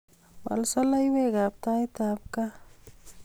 Wal soloiwet ab taitab kaa